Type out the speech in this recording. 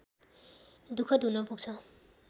दुखद हुन पुग्छ